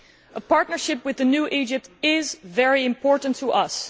A partnership with the new Egypt is very important to us.